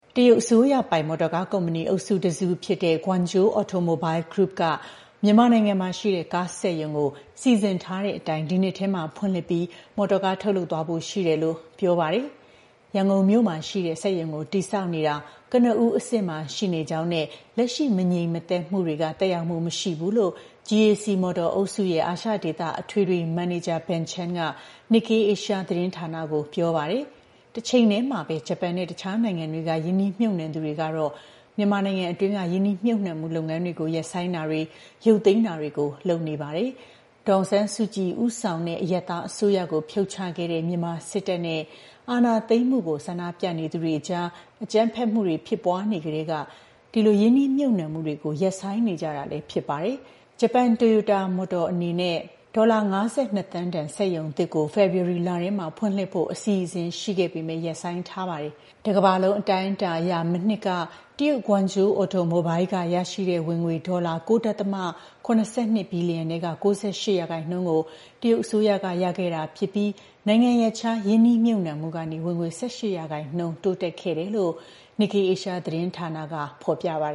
တရုတ်အစိုးရပိုင် မော်တော်ကားကုမ္ပဏီ အုပ်စုတစ်စုဖြစ်တဲ့ Guangzhou Automobile Group က မြန်မာနိုင်ငံမှာရှိတဲ့ ကားစက်ရုံကို စီစဉ်ထားတဲ့အတိုင်း ဒီနှစ်ထဲမှာဖွင့်လှစ်ပြီး မော်တော်ကား ထုတ်လုပ်သွားဖို့ ရှိတယ်လို့ ပြောပါတယ်။ “ရန်ကုန်မြို့မှာရှိတဲ့စက်ရုံကို တည်ဆောက်နေတာ ကနဦးအဆင့်မှာ ရှိနေကြောင်းနဲ့ လက်ရှိ မငြိမ်မသက်မှုတွေကြောင့် သက်ရောက်မှု မရှိဘူး”လို့ GAC Motor အုပ်စုရဲ့ အာရှဒေသ အထွေထွေ မန်နေဂျာ Ben Chan က Nikkei Asia သတင်းဌာနကို ပြောပါတယ်။ တချိန်တည်းမှာပဲ ဂျပန်နဲ့ တခြားနိုင်ငံတွေက ရင်းနှီးမြှုပ်နှံသူတွေကတော့ မြန်မာနိုင်ငံတွင်းက ရင်းနှီးမြှုပ်နှံမှုလုပ်ငန်းတွေကို ရပ်ဆိုင်းတာတွေ၊ ရုပ်သိမ်းတာတွေ လုပ်နေတာပါ။ ဒေါ်အောင်ဆန်းစုကြည်ဦးဆောင်တဲ့ အရပ်သားအစိုးရကို ဖြုတ်ချခဲ့တဲ့ မြန်မာစစ်တပ်က အာဏာသိမ်းမှု ကန့်ကွက်ဆန္ဒပြသူတွေကို အကြမ်းဖက်နှိမ်နင်းနေတာကြောင့် ရင်းနှီးမြှုပ်နှံမှုတွေ ရပ်ဆိုင်းနေကြတာ ဖြစ်ပါတယ်။ ဂျပန် Toyota Motor အနေနဲ့ ဒေါ်လာ ၅၂ သန်းတန် စက်ရုံသစ်ကို ဖေဖော်ဝါရီလထဲဖွင့်လှစ်ဖို့ အစီအစဉ် ရှိခဲ့ပေမယ့် ရပ်ဆိုင်းထားခဲ့ပါတယ်။ တကမ္ဘာလုံး အတိုင်းအတာအရ မနှစ်က တရုတ် Guangzhou Automobile က ရရှိတဲ့ ဝင်ငွေ ဒေါ်လာ ၉.၇၂ ဘီလီယံထဲက ၉၈% ကို တရုတ်အစိုးရက ရရှိခဲ့တာဖြစ်ပြီး နိုင်ငံရပ်ခြား ရင်းနှီးမြှုပ်နှံမှုကနေ ဝင်ငွေ ၁၈% တိုးတက်ခဲ့တယ်လို့ Nikkei Asia သတင်းဌာနက ပြောပါ